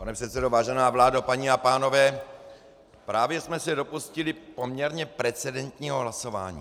Pane předsedo, vážená vládo, paní a pánové, právě jsme se dopustili poměrně precedentního hlasování.